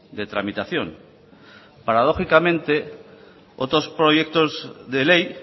de tramitación paradójicamente otros proyectos de ley